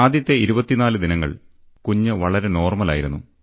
ആദ്യത്തെ 24 ദിനങ്ങൾ കുഞ്ഞ് വളരെ നോർമൽ ആയിരുന്നു